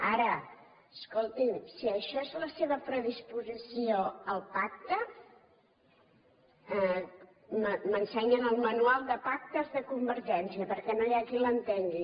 ara escolti’m si això és la seva predisposició al pacte m’ensenyen el manual de pactes de convergència perquè no hi ha qui l’entengui